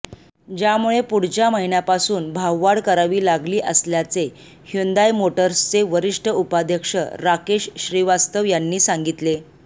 ज्यामुळे पुढच्या महिन्यापासून भाववाढ करावी लागली असल्याचे ह्युंदाय मोटर्सचे वरिष्ठ उपाध्यक्ष राकेश श्रीवास्तव यांनी सांगितले